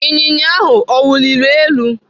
Ịnyịnya ahụ ọ wuliri elu?